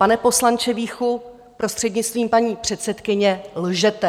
Pane poslanče Víchu, prostřednictvím paní předsedkyně, lžete.